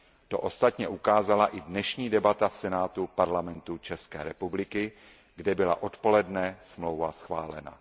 To ostatně ukázala i dnešní debata v Senátu Parlamentu České republiky, kde byla odpoledne smlouva schválena.